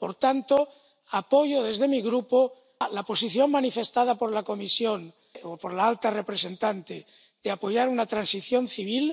Por tanto, apoyo desde mi grupo la posición manifestada por la Comisión —o por la alta representante— de apoyar una transición civil,